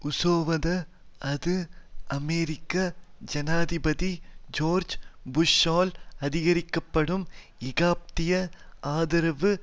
உசோவத அது அமெரிக்க ஜனாதிபதி ஜோர்ஜ் புஷ்ஷால் ஆதரிக்கப்படும் ஏகாதிபத்திய ஆதரவு